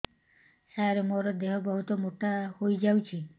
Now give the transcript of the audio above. ସାର ମୋର ଦେହ ବହୁତ ମୋଟା ହୋଇଯାଉଛି